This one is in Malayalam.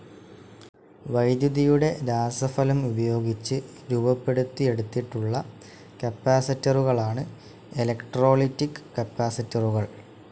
വൈദ്യുതിയുടെ രാസഫലം ഉപയോഗിച്ച് രൂപപ്പെടുത്തി എടുത്തിട്ടുള്ള കപ്പാസിറ്ററുകളാണ് ഇലക്ട്രോലൈറ്റിക്‌ കപ്പാസിറ്ററുകൾ.